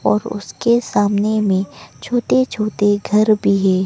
और उसके सामने में छोटे छोटे घर भी है।